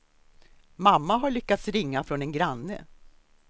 Mamma har lyckats ringa från en granne.